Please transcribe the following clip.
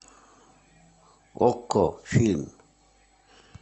окко фильм